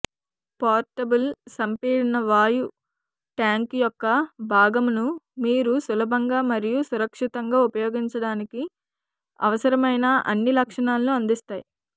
portable సంపీడన వాయు tank యొక్క భాగాలను మీరు సులభంగా మరియు సురక్షితంగా ఉపయోగించడానికి అవసరమైన అన్ని లక్షణాలను అందిస్తాయి